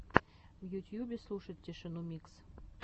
в ютьюбе слушать тишину микс